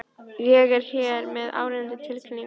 Ég er hér með áríðandi tilkynningu.